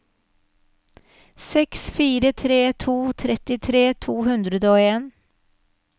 seks fire tre to trettitre to hundre og en